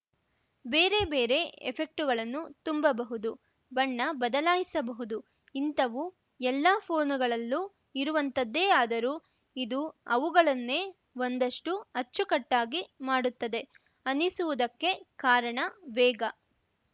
ಬೇರೆ ಬೇರೆ ಎಫೆಕ್ಟುಗಳನ್ನು ತುಂಬಬಹುದು ಬಣ್ಣ ಬದಲಾಯಿಸಬಹುದು ಇಂಥವು ಎಲ್ಲೂ ಫೋನುಗಳಲ್ಲೂ ಇರುವಂಥದ್ದೇ ಆದರೂ ಇದು ಅವುಗಳನ್ನೇ ಒಂದಷ್ಟುಅಚ್ಚುಕಟ್ಟಾಗಿ ಮಾಡುತ್ತದೆ ಅನ್ನಿಸುವುದಕ್ಕೆ ಕಾರಣ ವೇಗ